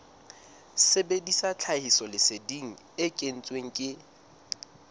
sebedisa tlhahisoleseding e kentsweng ke